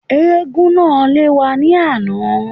Éégún náà lé wa ní àná